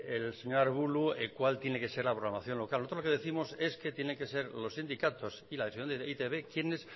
el señor arbulo cuál tiene que ser la programación local nosotros lo que décimos es que tienen que ser los sindicatos y la dirección de e i te be quienes